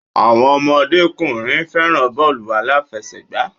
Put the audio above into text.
Àwọn ọmọdékùnrin fẹràn bọ́ọ̀lù aláfẹ̀sẹgbà.